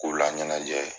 K'u laɲɛnajɛ ye